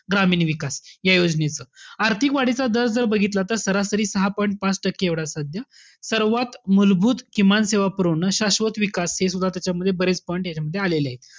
ग्रामीण विकास. या योजनेचं. आर्थिक वाढीचा दर जर बघितला तर सरासरी सहा point पाच टक्के सद्या. सर्वात मूलभूत किमान सेवा पुरवणं, शाश्वत विकास हे सुद्धा त्याच्यामध्ये बरेच point यांच्यामध्ये आलेलेय.